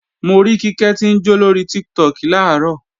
Mo rí Kíkẹ́ tí ń jó lórí Tiktok làárọ̀